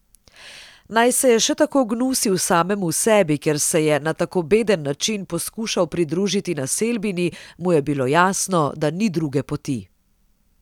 Naj se je še tako gnusil samemu sebi, ker se je na tako beden način poskušal pridružiti naselbini, mu je bilo jasno, da ni druge poti.